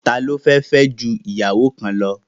Ta ló fẹ́ fẹ́ ju ìyàwó kan lọ?.